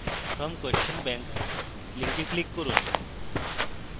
from question bank link click করুন